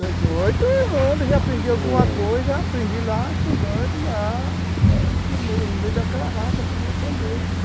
Dezoito anos, já aprendi alguma coisa, aprendi lá estudando lá, no meio no meio daquela raça tudinho aprender.